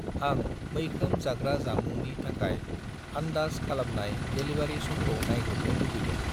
आं मैखोम जाग्रा जामुंनि थाखाय आन्दाज खालामनाय डेलिबारि समखौ नायग्रोमनो लुबैदों।